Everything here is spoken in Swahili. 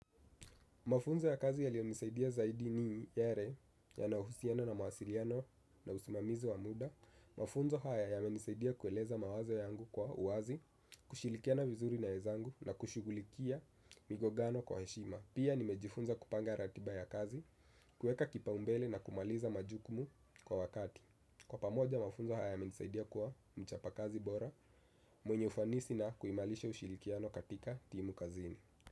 Mafunzo ya kazi yalinisaidia zaidi ni yale yanayohusiana na mawasiliano na usimamizi wa muda. Mafunzo haya yamenisaidia kueleza mawazo yangu kwa uwazi, kushirikiana vizuri na wezangu na kushughulikia migongano kwa heshima. Pia nimejifunza kupanga ratiba ya kazi, kueka kipao mbele na kumaliza majukumu kwa wakati. Kwa pamoja, mafunzo haya yamenisaidia kuwa mchapa kazi bora, mwenye ufanisi na kuimarisha ushirikiano katika timu kazini.